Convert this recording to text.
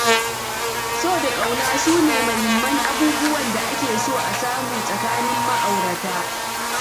So da ƙauna su ne muhimman abubuwan da ake so a samu tsakanin ma'aurata.